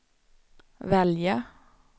välja